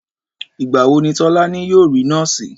Ìgbà wo ni Tólání yóò rí nóòsì